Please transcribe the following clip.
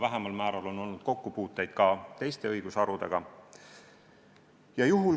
Vähemal määral on olnud kokkupuuteid teiste õigusharudega.